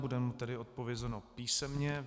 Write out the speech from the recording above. Bude vám tedy odpovězeno písemně.